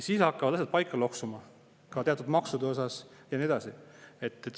Siis hakkaksid asjad paika loksuma ka teatud maksude osas ja nii edasi.